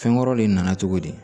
Fɛn wɛrɛw de nana cogo di